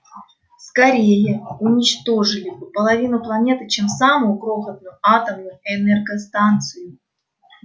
скорее уничтожили бы половину планеты чем самую крохотную атомную энергостанцию